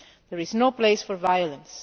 There is no place for violence.